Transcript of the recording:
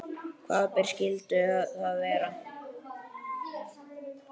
Hvaða ber skyldu það vera?